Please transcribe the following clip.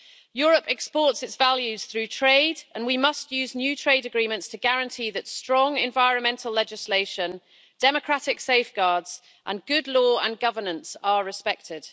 Europe exports its values through trade, and we must use new trade agreements to guarantee that strong environmental legislation, democratic safeguards and good law and governance are respected.